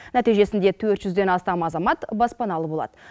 нәтижесінде төрт жүзден астам азамат баспаналы болады